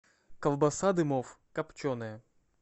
колбаса дымов копченая